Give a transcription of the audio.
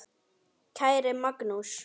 Kæri mágur.